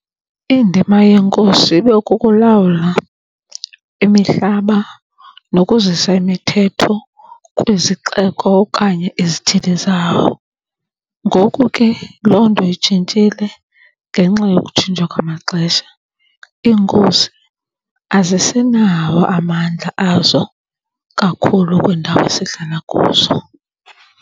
Indima yeeNkosi ibe kukulawula imihlaba nokuzisa imithetho kwizixeko okanye izithili zawo. Ngoku ke loo nto itshintshile ngenxa yokutshintsha kwamaxesha. IiNkosi azisenawo amandla azo kakhulu kwiindawo esihlala kuzo.